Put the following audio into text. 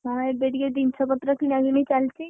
ହଁ ଏବେ ଟିକେ ଜିନିଷ ପତ୍ର କିଣାକିଣି ଚାଲିଚି।